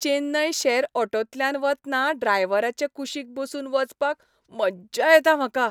चेन्नय शॅर ऑटोंतल्यान वतना ड्रायव्हराचे कुशीक बसून वचपाक मज्जा येता म्हाका.